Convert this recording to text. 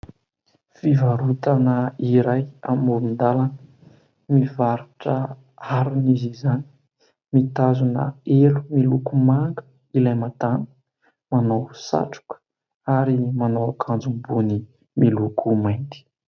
Fivarotana iray amoron-dalana. Mivarotra harona izy izany, mitazona elo miloko manga ilay madama, manao satroka ary manao akanjo ambony miloko mainty.